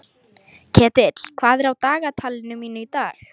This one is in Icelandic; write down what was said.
Ketill, hvað er á dagatalinu mínu í dag?